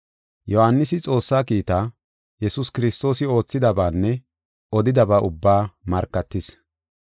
Yohaanisi Xoossaa kiitaa, Yesuus Kiristoosi oothidabaanne odidaba ubbaa markatis.